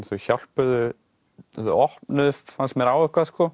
þau hjálpuðu þau opnuðu fannst mér á eitthvað sko